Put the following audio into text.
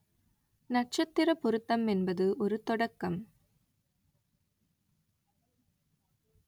நட்சத்திரப் பொருத்தம் என்பது ஒரு தொடக்கம்